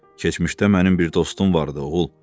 Keçmişdə mənim bir dostum vardı, oğul.